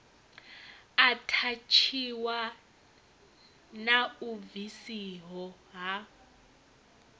athatshiwa na u bvisiho ha